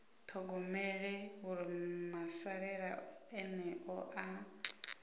ṱhogomele uri masalela eneo ha